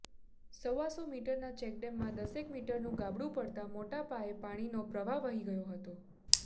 સવાસો મિટરના ચેકડેમમાં દસેક મિટરનું ગાબડું પડતા મોટા પાયે પાણીનો પ્રવાહ વહી ગયો હતો